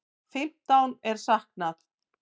Fimmtán er saknað.